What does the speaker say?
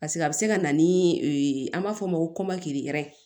paseke a be se ka na ni an b'a fɔ o ma ko kɔmɔkili